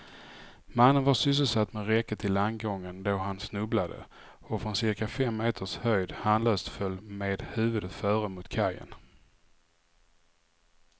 Mannen var sysselsatt med räcket till landgången då han snubblade och från cirka fem meters höjd handlöst föll med huvudet före mot kajen.